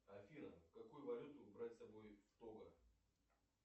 афина какую валюту брать с собой в того